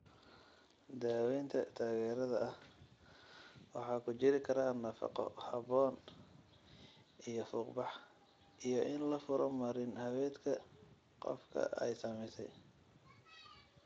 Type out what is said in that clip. Daawaynta taageerada ah waxaa ku jiri kara nafaqo habboon iyo fuuq-bax, iyo in la furo marin-haweedka qofka ay saamaysay.